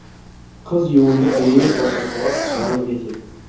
қыз ионды дереу босатуға жарлық етеді